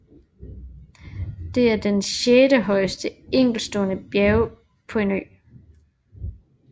Det er den sjette højeste enkeltstående bjerg på en ø